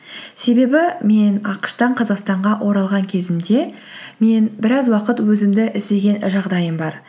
себебі мен ақш тан қазақстанға оралған кезімде мен біраз уақыт өзімді іздеген жағдайым бар